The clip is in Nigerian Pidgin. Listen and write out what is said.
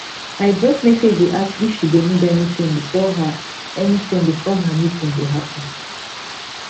i drop message dey ask if she go need anything before her anything before her meeting go happen